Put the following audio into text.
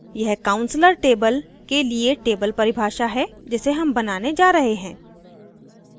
यह counselor table के लिए table परिभाषा है जिसे हम बनाने जा रहे हैं